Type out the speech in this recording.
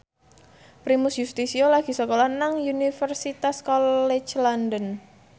Primus Yustisio lagi sekolah nang Universitas College London